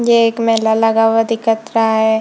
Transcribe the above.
ये एक मेला लगा हुआ दिखत रहा है।